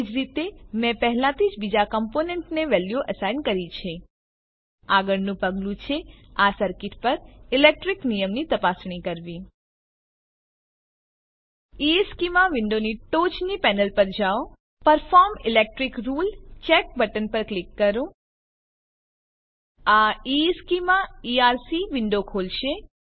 એજ રીતે મેં પહેલાથી જ બીજા કમ્પોનેન્ટને વેલ્યુઓ એસાઈન કરી છે આગળનું પગલું છે આ સર્કીટ પર ઇલેક્ટ્રીક નિયમની તપાસણી કરવી ઇશ્ચેમાં વિન્ડોની ટોચની પેનલ પર જાઓ perform electric rule check button પર ક્લિક કરો આ ઇશ્ચેમાં ઇઆરસી વિન્ડો ખોલશે